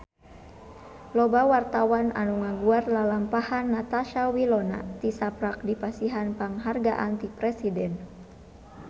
Loba wartawan anu ngaguar lalampahan Natasha Wilona tisaprak dipasihan panghargaan ti Presiden